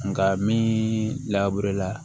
Nka mini laburela